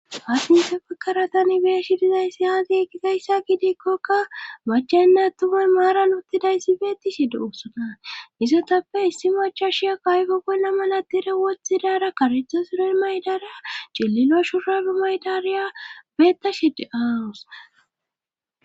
haussa misilezapaka tani beeshi dizayssi aagi gizayssa gidikkokka machenna tume maara luttidayssi beeti shi duusona izotappe issi macha shiya kaayfo bolla malatire wothidara karetho siro maydara celilo shuradu maydariya beetta shide-aawus